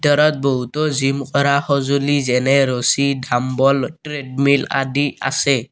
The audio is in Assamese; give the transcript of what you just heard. ভিতৰত বহুতো জিম কৰা সজুঁলি যেনে ৰছী দাম্বল ট্ৰেডমিল আদি আছে।